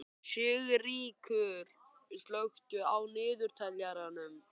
Sigríkur, slökktu á niðurteljaranum.